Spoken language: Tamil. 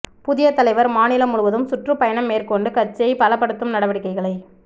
புதிய தலைவர் மாநிலம் முழுவதும் சுற்றுப் பயணம் மேற்கொண்டு கட்சியை பலப்படுத்தும் நடவடிக்கைகளை